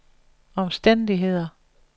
omstændigheder